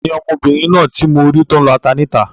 Tani ọmọbìnrin náà ti mọ rí tó n lọ ata ní ìta?